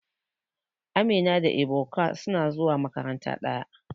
Amina da Ebuka suna zuwa makaranta daya.